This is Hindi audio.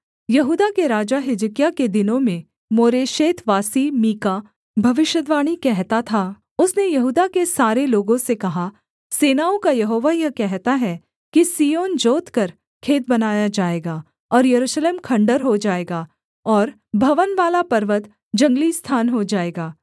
यहूदा के राजा हिजकिय्याह के दिनों में मोरेशेतवासी मीका भविष्यद्वाणी कहता था उसने यहूदा के सारे लोगों से कहा सेनाओं का यहोवा यह कहता है कि सिय्योन जोतकर खेत बनाया जाएगा और यरूशलेम खण्डहर हो जाएगा और भवनवाला पर्वत जंगली स्थान हो जाएगा